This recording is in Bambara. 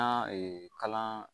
An ka kalan